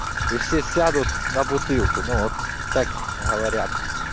и все сядут на бутылку ну вот так говорят